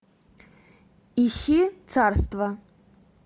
ищи царство